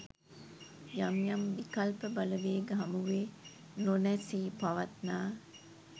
යම් යම් විකල්ප බලවේග හමුවේ නොනැසී පවත්වා